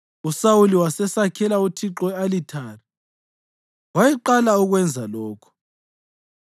USawuli wasesakhela uThixo i-alithari; wayeqala ukwenza lokhu.